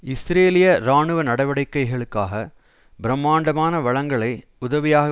இஸ்ரேலிய இராணுவ நடவடிக்கைகளுக்காக பிரம்மாண்டமான வளங்களை உதவியாக